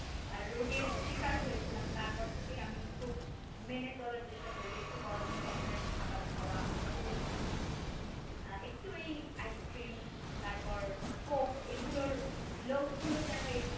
আর রোগের শিকার হয়েছিলাম তারপর থেকে আমি খুব মেনে চলার চেষ্টা করি একটু গরম ধরনের খাবার খাওয়া একটু আহ একটু এই ice cream তারপর coke এইগুলোর লোভ গুলোই যেন একটু